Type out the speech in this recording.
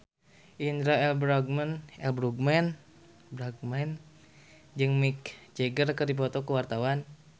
Indra L. Bruggman jeung Mick Jagger keur dipoto ku wartawan